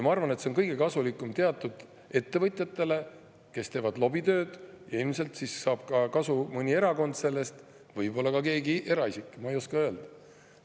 Ma arvan, et see on kõige kasulikum teatud ettevõtjatele, kes teevad lobitööd, ja ilmselt saab sellest kasu ka mõni erakond, võib-olla ka keegi eraisik, ma ei oska öelda.